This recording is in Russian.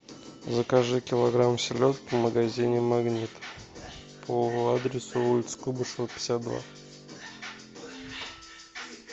закажи килограмм селедки в магазине магнит по адресу улица куйбышева пятьдесят два